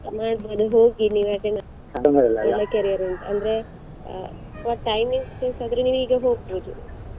ಹೋಗಿ ನೀವು attend ಆಗಿ ಒಳ್ಳೆ career ಉಂಟು ಅಂದ್ರೆ timings choose ಆದ್ರೆ ನೀವ್ ಹೋಗ್ಬೋದು.